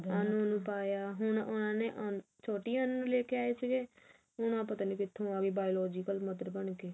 ਅਨੂ ਨੂੰ ਪਾਇਆ ਹੁਣ ਉਹਨਾਂ ਨੇ ਛੋਟੀ ਅਨੂ ਨੂੰ ਲੈਕੇ ਆਏ ਸੀਗੇ ਹੁਣ ਆਹ ਪਤਾ ਨੀ ਕਿੱਥੋਂ ਆਗੀ biological mother ਬਣ ਕਿ